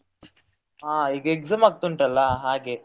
ಹಾ ಈಗ exam ಆಗ್ತಾ ಉಂಟಲ್ಲ ಹಾಗೆ.